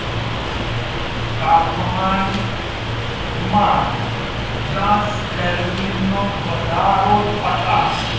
તાપમાન માં દસ કેલ્વિન વધારો થતા